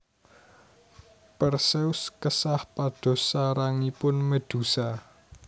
Perseus kesah pados sarangipun Medusa